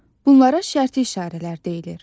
Bunlara şərti işarələr deyilir.